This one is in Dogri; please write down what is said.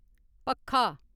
पक्खा